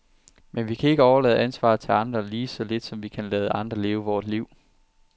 Men vi kan ikke overlade ansvaret til andre, lige så lidt som vi kan lade andre leve vort liv.